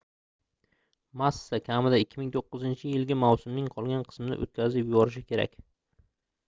massa kamida 2009-yilgi mavsumning qolgan qismini oʻtkazib yuborishi kerak